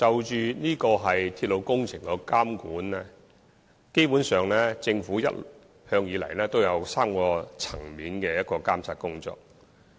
就鐵路工程的監管，基本上政府一直進行3個層面的監察工作。